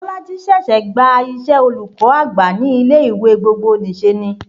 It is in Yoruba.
Bolaji ṣẹ̀ṣẹ̀ gba iṣẹ́ olùkọ́ àgbà ní ilé ìwé gbogbonìṣe ni